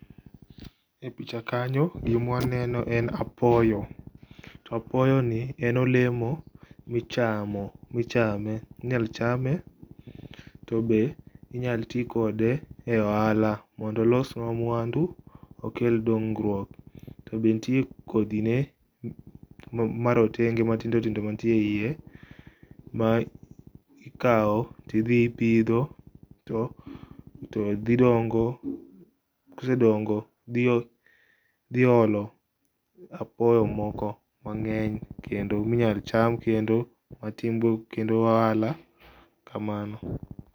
E picha kanyo gima waneno en apoyo. To apoyo ni en olemo michamo, michame, inya chame tobe inyal tii kode e ohala mondo olos mwandu okel dongruok. To be nitie kodhi ne marotenge matindo tindo manitie eiye, mikao tidhi ipidho to dhi dongo, kosedongo dhiolo apoyo moko mangeny kendo minyal cham kendo matin be timgo ohala, kamano